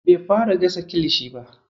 Bai fara gasa kilishi ba.